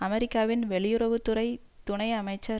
அமெரிக்காவின் வெளியுறவு துறை துணை அமைச்சர்